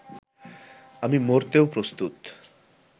আমি মরতেও প্রস্তুত